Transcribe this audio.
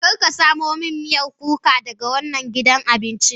Kar ka samo min miyar kuka daga wannan gidan abincin.